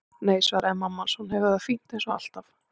Nei, svaraði mamma hans, hún hefur það fínt eins og alltaf.